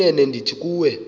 inene ndithi kuwe